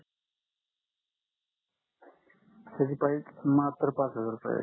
त्याची प्राईझ मात्र पाच हजार रुपये आहे